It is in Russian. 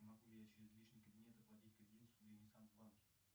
могу ли я через личный кабинет оплатить кредит в ренессанс банке